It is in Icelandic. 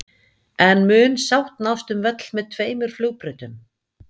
En mun sátt nást um völl með tveimur flugbrautum?